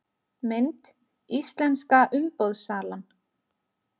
Mynd: Íslenska umboðssalan